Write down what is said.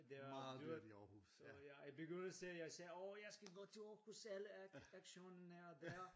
Det er dyrt så ja i begyndelsen jeg sagde årh jeg skal gå til Aarhus alle actionen er dér